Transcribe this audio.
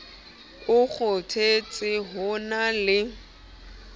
o kgothetse ho na le